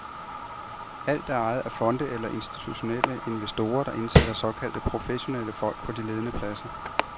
Alt er ejet af fonde eller af institutionelle investorer, der indsætter såkaldte professionelle folk på de ledende pladser.